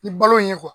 Ni balo ye